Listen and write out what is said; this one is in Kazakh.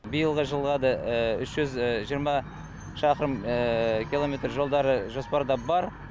биылғы жылға да үш жүз жиырма шақырым километр жолдары жоспарда бар